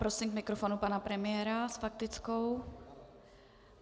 Prosím k mikrofonu pana premiéra s faktickou.